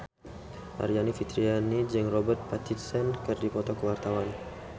Aryani Fitriana jeung Robert Pattinson keur dipoto ku wartawan